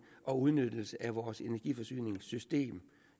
og udnyttelse af vores energiforsyningssystem